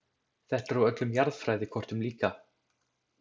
Þetta er á öllum jarðfræðikortum líka.